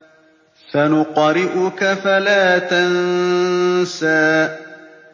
سَنُقْرِئُكَ فَلَا تَنسَىٰ